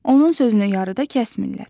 Onun sözünü yarıda kəsmirlər.